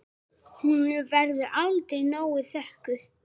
Hún verður aldrei nóg þökkuð.